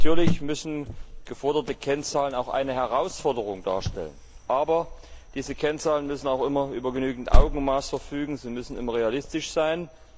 Natürlich müssen geforderte Kennzahlen auch eine Herausforderung darstellen, aber diese Kennzahlen müssen immer über genügend Augenmaß verfügen, sie müssen immer realistisch sein.